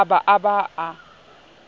a ba a ba a